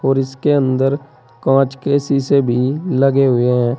और इसके अंदर कांच के शीशे भी लगे हुए हैं।